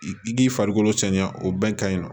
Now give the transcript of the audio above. I k'i farikolo cɛɲa o bɛn ka ɲi nɔ